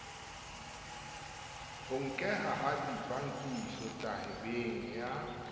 ho nkeha ha dibakisotabeng ya